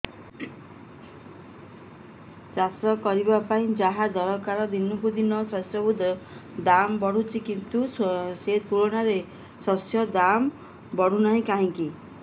ଚାଷ କରିବା ପାଇଁ ଯାହା ଦରକାର ଦିନକୁ ଦିନ ସେସବୁ ର ଦାମ୍ ବଢୁଛି କିନ୍ତୁ ସେ ତୁଳନାରେ ଶସ୍ୟର ଦାମ୍ ବଢୁନାହିଁ କାହିଁକି